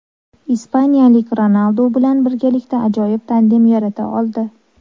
Ispaniyalik Ronaldu bilan birgalikda ajoyib tandem yarata oldi.